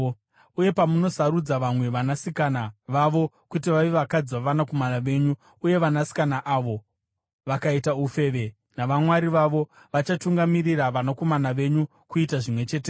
Uye pamunosarudza vamwe vanasikana vavo kuti vave vakadzi vavanakomana venyu uye vanasikana avo vakaita ufeve navamwari vavo, vachatungamirira vanakomana venyu kuita zvimwe chetezvo.